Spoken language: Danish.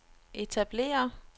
etablere